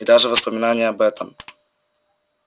и даже воспоминание об этом